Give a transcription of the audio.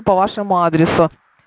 по вашему адресу